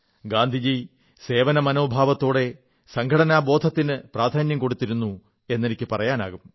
ഗാന്ധി സേവനമനോഭാവത്തോടെ സംഘടനാബോധത്തിന് പ്രാധാന്യം കൊടുത്തിരുന്നു എെന്നനിക്കു പറയാനാകും